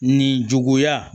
Nin juguya